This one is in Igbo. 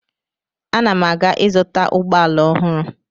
Ana m aga ịzụta ụgbọala ọhụrụ.